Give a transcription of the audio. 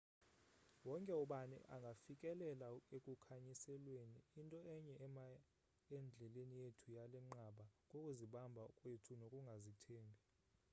wonke ubani angafikelela ekukhanyiselweni into enye ema endleleni yethu yalenqanaba kukuzibamba kwethu nokungazithembi